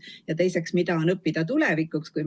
Ja teiseks, mida on õppida tulevikuks?